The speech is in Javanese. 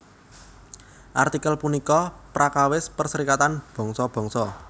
Artikel punika prakawis Perserikatan Bangsa Bangsa